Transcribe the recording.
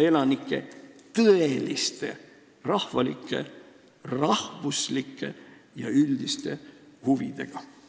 elanike ja Eesti riigi üldrahvalike huvidega.